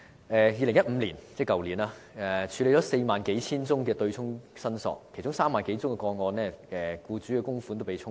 2015年，當局處理了4萬多宗對沖申索個案，在其中3萬多宗個案中，僱主的供款被"沖走"。